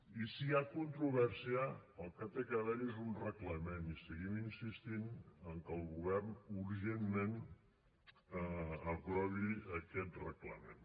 i si hi ha controvèrsia el que ha d’haver hi és un reglament i seguim insistint que el govern urgentment aprovi aquest reglament